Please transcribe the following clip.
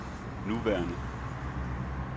nuværende